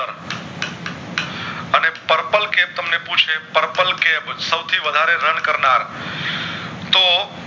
Purple Cap સસોવ થી વધારે run કર નાર તો